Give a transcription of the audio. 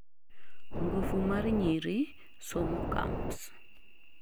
ngufu mar nyiri' somo camps